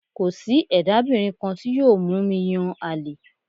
Kò sí ẹ̀dábìnrin kan tí yóò mú mi yàn àlè